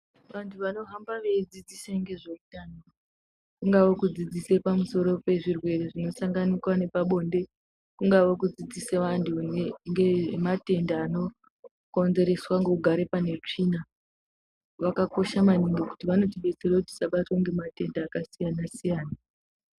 Vantu vanohamba veidzidzise ngezveutano kungave kudzidzise pamusoro pezvirwere zvinosanganikwa nepabonde kungawe kudzidzise vantu ngematenda anokonzereswa ngekugare pane tsvina vakakosha maningi ngokuti vanotidetsera kuti tisabatwa ngematenda akasiyana siyana.